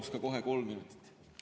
Paluksin kohe kolm minutit juurde.